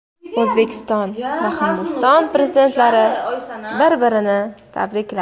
O‘zbekiston va Hindiston prezidentlari bir-birini tabrikladi.